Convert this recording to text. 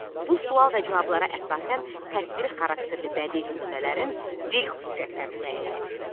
Bu sual və cavablara əsasən təsviri xarakterli bədii nümunələrin dil xüsusiyyətlərini müəyyən et.